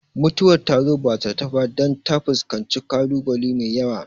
Mutuwar ta zo ba zata ba dan ta fuskanci kalu bale mai yawa